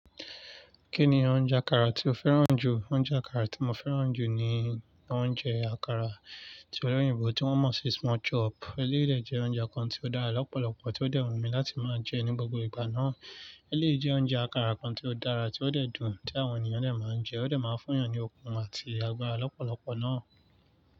Kí ni oúnjẹ àkàrà tí o fẹ́ràn jù? Oúnjẹ àkàrà tí mo fẹ́ràn jù ni oúnjẹ àkàrà tí olóyìnbó tí wọ́n mọ̀ sí small chop. Elééyi de jẹ oúnjẹ kan tí ó dára lọ́pọ̀lọpọ̀ tí ó dẹ́ wùn mi láti máa jẹ ní gbogbo ìgbà náà. Eléèyi jẹ oúnjẹ àkàrà kan tí ó dára tí ó dẹ́ dùn tí àwọn ènìyàn dẹ̀ máa ń jẹ, ó dẹ̀ máa ń fún yàn ní okun àti agbára lọ́pọ̀lọpọ̀ náà.